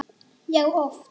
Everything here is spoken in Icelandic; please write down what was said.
Já, oft.